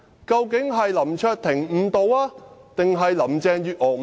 究竟是林卓廷誤導，還是林鄭月娥誤導？